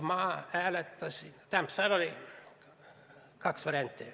Seal oli kaks varianti.